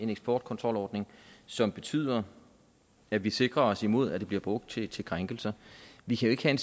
en eksportkontrolordning som betyder at vi sikrer os imod at det bliver brugt til til krænkelser vi kan